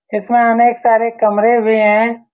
इसमें अनेक सारे कमरे भी हैं।